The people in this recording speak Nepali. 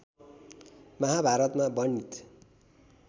महाभारतमा वर्णित